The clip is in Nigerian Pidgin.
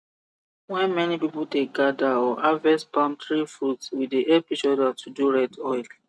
when many people dey gather or harvest palm tree fruit we dey help each other to do red oil